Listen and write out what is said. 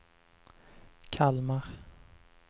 Kalmar